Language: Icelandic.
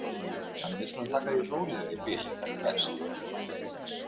Þannig að við skulum taka því rólega í bili, er það ekki best?